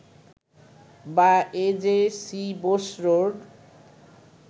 বা A J C Bose road